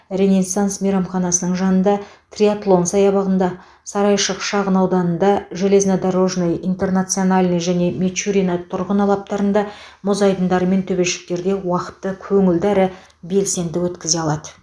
ренессанс мейрамханасының жанында триатлон саябағында сарайшық шағын ауданында железнодорожный интернациональный және мичурино тұрғын алаптарында мұз айдындары мен төбешіктерде уақытты көңілді әрі белсенді өткізе алады